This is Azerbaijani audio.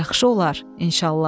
Yaxşı olar, inşallah.